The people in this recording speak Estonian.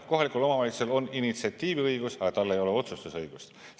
Kohalikul omavalitsusel on initsiatiiviõigus, aga tal ei ole otsustusõigust.